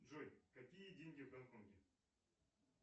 джой какие деньги в гонконге